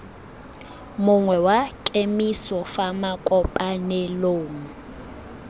mongwe wa kemiso fa makopanelong